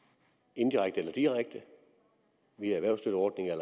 indirekte via erhvervsstøtteordninger